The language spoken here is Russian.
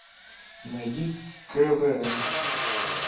найди квн